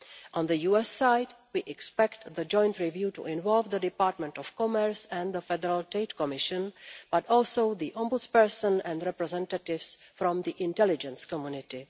On the US side, we expect the joint review to involve the Department of Commerce and the Federal Trade Commission, but also the Ombudsperson and representatives from the intelligence community.